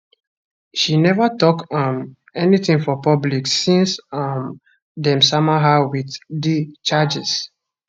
she neva tok um anytin for public since um dem sama her wit di charges